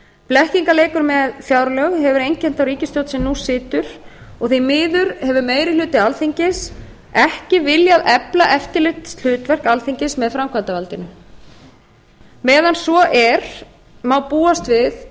blekkingarleikur með fjárlög hefur einkennt þá ríkisstjórn sem nú situr og því miður hefur meiri hluti alþingis ekki viljað efla eftirlitshlutverk alþingis með framkvæmdarvaldinu meðan svo er má búast við